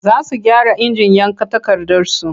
Za su gyara injin yanka takardarsu.